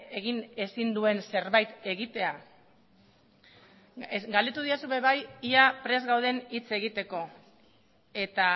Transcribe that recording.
egin ezin duen zerbait egitea galdetu didazu ere bai ia prest gauden hitz egiteko eta